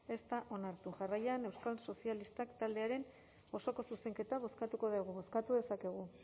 ez da onartu jarraian euskal sozialistak taldearen osoko zuzenketa bozkatuko dugu bozkatu dezakegu